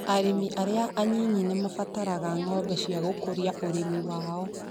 Arĩmi arĩa anyinyi nĩ mabataraga ngombo cia gũkũria ũrĩmi wao